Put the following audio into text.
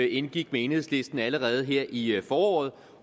indgik med enhedslisten allerede her i foråret